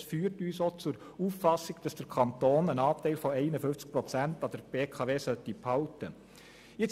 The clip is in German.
Das führt uns zur Auffassung, dass der Kanton eine Mehrheit von 51 Prozent an der BKW behalten sollte.